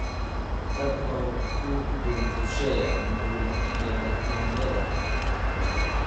Tag oo ku dul rusheeyaa bur yaanyada.